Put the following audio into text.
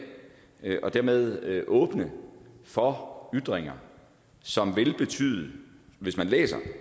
og dermed åbne for ytringer som vil betyde hvis man læser